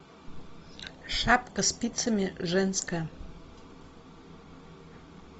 шапка спицами женская